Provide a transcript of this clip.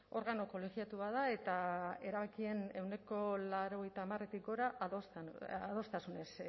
organo kolegiatu bat da eta erabakien ehuneko laurogeita hamaretik gora adostasunez